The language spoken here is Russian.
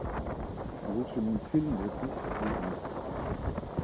лучший мультфильм две тысячи девятнадцать